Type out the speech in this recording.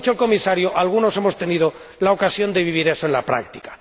?como ha dicho el Comisario? algunos hemos tenido la ocasión de vivir eso en la práctica.